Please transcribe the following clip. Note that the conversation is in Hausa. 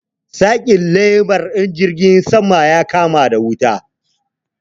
Saki lemar! injin jirgin saman ya kama da wuta.